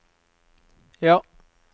ja